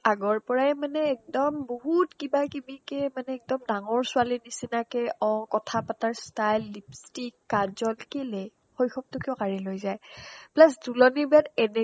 আগৰ পৰাইয়ে মানে একদম বহুত কিবা কিবিকে মানে একদম ডাঙৰ ছোৱালীৰ নিচিনাকে অ কথা পাতাৰ style lipstick কাজল শিকিলে শৈশৱতো কিয় কাঢ়িলৈ যায় তুলনি plus বিয়াত